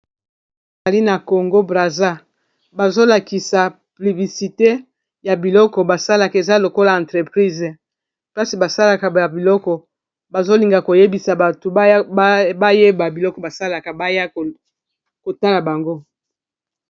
Ezali na congo brasa bazolakisa plibisite ya biloko basalaka eza lokola entreprise plasi basalaka ya biloko bazolinga koyebisa batu bayeba biloko basalaka baya kotala bango